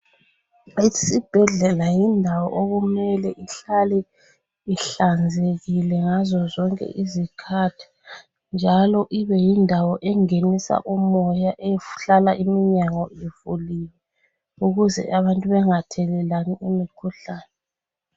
Isibhedlela yindawo okumele ihlale ihlanzekile ngazozonke izikhathi njalo ibeyindawo engenisa umoya ehlala iminyango ivuliwe ukuze abantu bengathelelani imikhuhlane.